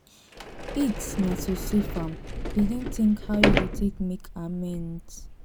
it na to safe am begin tink how yu go take make amends